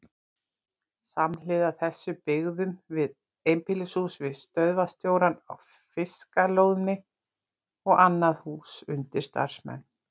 Samhliða þessu byggðum við einbýlishús fyrir stöðvarstjórann á Fiskalóni og annað hús undir starfsmenn.